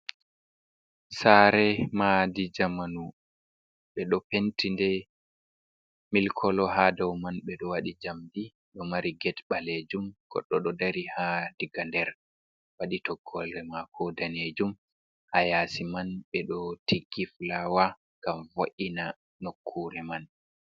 Saare maadi jamanu ɓe ɗo penti nde ''milk colour''. Haa dow man ɓe ɗo waɗi njamdi dow maare. ''Gate' ɓaleeju. Goɗɗo ɗo dari haa diga nder waɗi toggoore maako daneejum. Haa yaasi man ɓe ɗo tigi fulaawa ngam vo''ina nokkuure man.